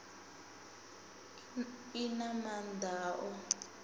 i na maanda a u